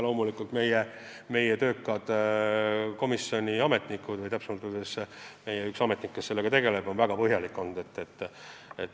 Loomulikult on panuse andnud meie komisjoni töökad ametnikud, õigemini üks ametnik, kes sellega tegeleb ja on väga põhjalik olnud.